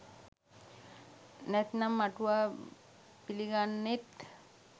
නැත්නම් අටුවා පිළිගන්නෙත්